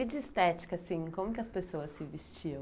E de estética, assim, como que as pessoas se vestiam?